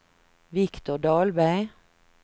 Viktor Dahlberg